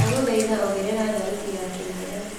ndagũthaĩtha ongerera thaũtĩ ya kimero